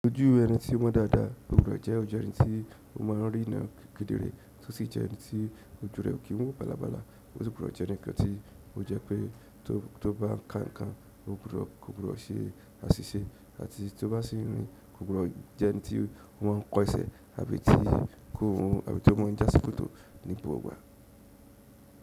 Ojú ẹni ti mọ́ dáadáa, o gbudọ̀ jẹ ojú ẹnití o máa ń rína kedere, tó sì jẹ ẹni tí ojú rẹ ò kín wò bàlàbàlà osì gbudọ̀ jẹ́ ẹnìkan tí ó jẹ́ pé to tó bá kan ǹkan, kò gbudọ̀ kò gbọdọ̀ ṣe àṣìṣe àti tí ó bá sí ń rìn kò gbọdọ̀ jẹ́ ẹni tí ó máa ń kọ ẹ̀sẹ̀ àbí tí kò wọ́n àbí tó máa ń jásíkòtò ní gbogbo ìgbà.